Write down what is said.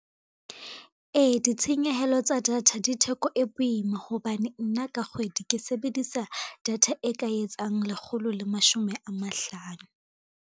Ee, ditshenyehelo tsa data di theko e boima, hobane nna ka kgwedi ke sebedisa data e ka etsang lekgolo le mashome a mahlano.